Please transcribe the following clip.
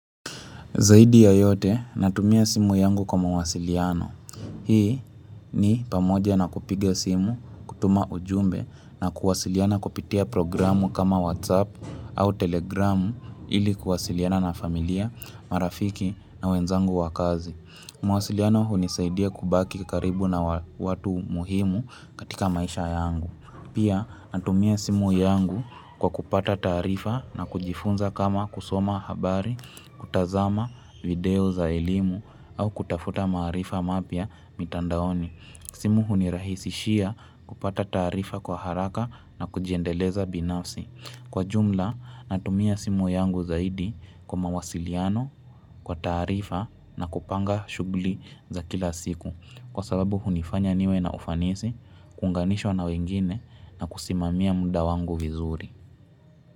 Zaidi ya yote, natumia simu yangu kwa mawasiliano. Hii ni pamoja na kupiga simu, kutuma ujumbe na kuwasiliana kupitia programu kama WhatsApp au Telegramu ili kuwasiliana na familia, marafiki na wenzangu wa kazi. Mawasiliano hunisaidia kubaki karibu na watu muhimu katika maisha yangu. Pia natumia simu yangu kwa kupata taarifa na kujifunza kama kusoma habari, kutazama video za elimu au kutafuta maarifa mapya mitandaoni. Simu hunirahisishia kupata taarifa kwa haraka na kujiendeleza binafsi. Kwa jumla natumia simu yangu zaidi kwa mawasiliano kwa taarifa na kupanga shugli za kila siku. Kwa sababu hunifanya niwe na ufanisi, kuunganishwa na wengine na kusimamia muda wangu vizuri.